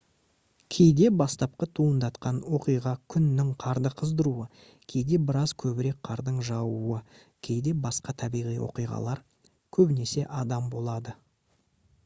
кейде бастапқы туындатқан оқиға күннің қарды қыздыруы кейде біраз көбірек қардың жаууы кейде басқа табиғи оқиғалар көбінесе адам болады